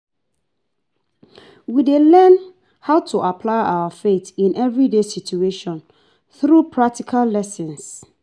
We dey learn how to apply our faith in everyday situations through practical lessons.